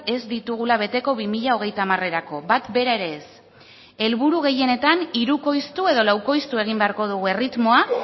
ez ditugula beteko bi mila hogeita hamar erako bat bera ere ez helburu gehienetan hirukoiztu edo laukoiztu egin beharko dugu erritmoa